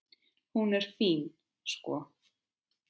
Hún er fín, sko.